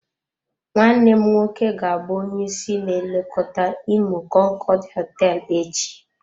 Nwanne m nwoke ga-abụ onye isi na-elekọta imo konkood hoteelu echi.